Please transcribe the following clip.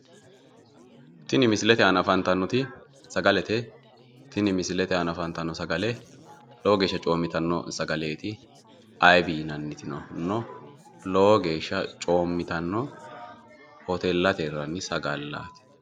Tini misilete aana afantannoti sagaleete tini misilete aana afantannoti sagale lowo geesha coommitanno sagaleeti ayib yinannitino no lowo geesha coommitanno hoteellate hirranni sagallaati